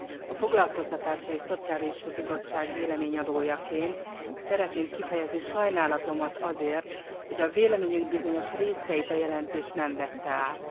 A Foglalkoztatási és Szociális Bizottság véleményének előadójaként szeretném kifejezni sajnálatomat amiatt, hogy véleményünk bizonyos részeit a jelentés nem vette át.